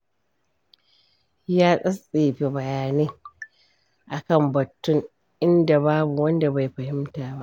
Ya tattsefe bayanai a kan batun, inda babu wanda bai fahimta ba.